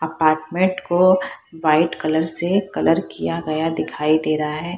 Apartment को white colour से colour किया गया दिखाई दे रहा हे।